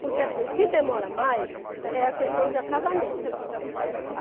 Porque assim, o que demora mais é a questão de acabamento.